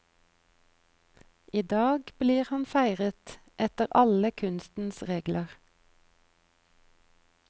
I dag blir han feiret etter alle kunstens regler.